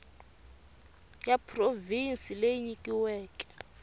ya provhinsi leyi yi nyikiweke